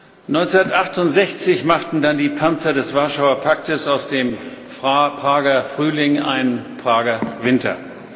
1968 machten dann die Panzer des Warschauer Pakts aus dem Prager Frühling einen Prager Winter.